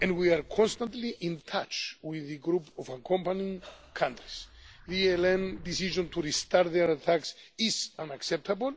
and we are constantly in touch with the group of accompanying countries. The ELN's decision to restart their attacks is unacceptable.